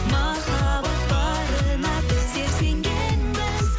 махаббат барына біздер сенгенбіз